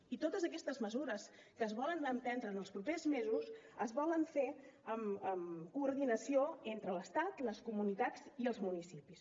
i totes aquestes mesures que es volen emprendre en els propers mesos es volen fer en coordinació entre l’estat les comunitats i els municipis